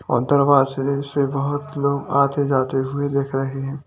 और दरवाजे से बोहोत लोग आते जाते हुए दिख रहे हैं।